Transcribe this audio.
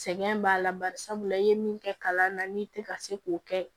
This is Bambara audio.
Sɛgɛn b'a la bari sabula i ye min kɛ kalan na n'i tɛ ka se k'o kɛ